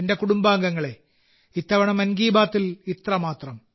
എന്റെ കുടുംബാംഗങ്ങളേ ഇത്തവണ മൻ കി ബാത്തിൽ ഇത്രമാത്രം